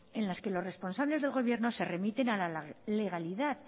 en las que los responsables de gobierno se remiten a la legalidad